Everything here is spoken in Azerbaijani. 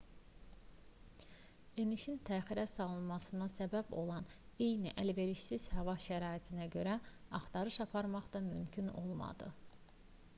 enişin təxirə salınmasına səbəb olan eyni əlverişsiz hava şəraitinə görə axtarış aparmaq da mümkün olmadı